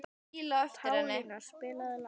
Pálína, spilaðu lag.